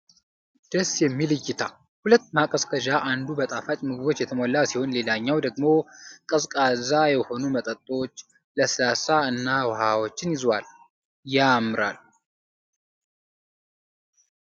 ደስ የሚል እይታ! ሁለት ማቀዝቀዣ! አንዱ በጣፋጭ ምግቦች የተሞላ ሲሆን ሌላኛው ደግሞ ቀዝቃዛ የሆኑ መጠጦችን፣ ለስላሳ እና ውሃዎችን ይዟል። ያምራል!